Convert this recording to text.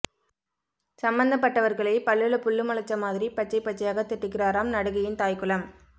சம்பந்தப்பட்டவர்களை பல்லுல புல்லு முளைச்ச மாதிரி பச்சை பச்சையாக திட்டுகிறாராம் நடிகையின் தாய்குலம்